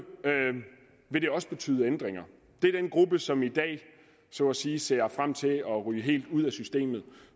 vil det også betyde ændringer det er den gruppe som i dag så at sige ser frem til at ryge helt ud af systemet